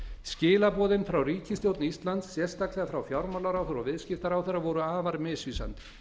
skilaboðin frá ríkisstjórn íslands sérstaklega frá fjármálaráðherra og viðskiptaráðherra voru afar misvísandi